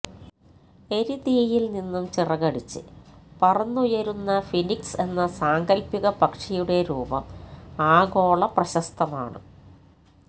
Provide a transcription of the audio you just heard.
എരിതീയിൽ നിന്നും ചിറകടിച്ച് പറന്നുയരുന്ന ഫീനിക്സ് എന്ന സാങ്കൽപ്പിക പക്ഷിയുടെ രൂപം ആഗോളപ്രശസ്തമാണ്